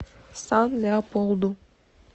сан леополду